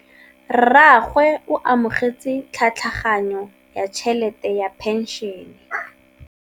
Rragwe o amogetse tlhatlhaganyô ya tšhelête ya phenšene.